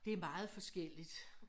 Det meget forskelligt